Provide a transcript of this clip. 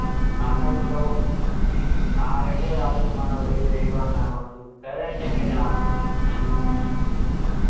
അതെന്തോ ആരൊക്കെ ഒരാള് ഉമ്മാനോട് എതിരേയിട്ട് വർത്താനം പറഞ്ഞിട്ട് ഉസ്താദ് അയിന് അങ്ങനെ ടാ